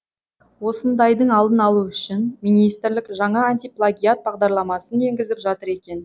осындайдың алдын алу үшін министрлік жаңа антиплагиат бағдарламасын енгізіп жатыр екен